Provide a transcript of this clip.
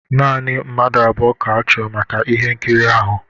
Naanị mmadụ abụọ ka-achọ maka ihe nkiri ahụ